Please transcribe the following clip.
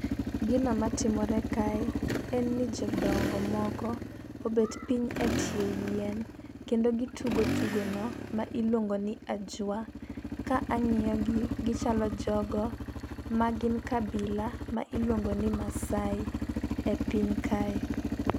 Gino matimore kae en ni jodongo moko obet piny e tie yien kendo gitugo tugo no ma iluongo ni ajwa. Ka ang'iyo gi gichalo jogo magin kabila ma iluongo ni masai e piny kae.